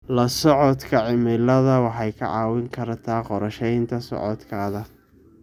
La socodka cimilada waxay kaa caawin kartaa qorsheynta socodkaaga.